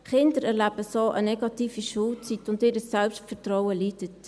Kinder erleben so eine negative Schulzeit, und ihr Selbstvertrauen leidet.